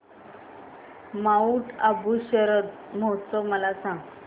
Mount Abu शरद महोत्सव मला सांग